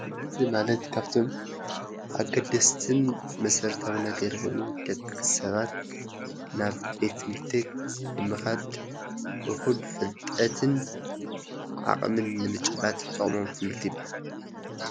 ትምህርቲ ማለት ካፍቶም ኣገደስትን መሰረታዊ ነገር ኾይኑ ደቅሰባት ናብ ቤት ትምህርቲ ብምኻድ እኹል ፍልጠትን ዓቅምን ንምጭባጥ ዝጠቅሞም ትምህርቲ ይብሃል፡፡